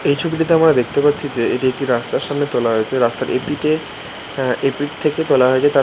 এই ছবিটিতে আমরা দেখতে পারছি যে এটি একটি রাস্তার সামনে তোলা হয়েছে। রাস্তার এ পিঠে এ পিঠ থেকে তোলা হয়েছে তার--